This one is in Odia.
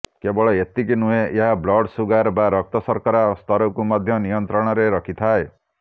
କେବଳ ଏତିକି ନୁହେଁ ଏହା ବ୍ଲଡ୍ ସୁଗାର ବା ରକ୍ତ ଶର୍କରା ସ୍ତରକୁ ମଧ୍ୟ ନିୟନ୍ତ୍ରଣରେ ରଖିଥାଏ